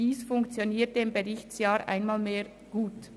Dies funktionierte im Berichtsjahr einmal mehr gut.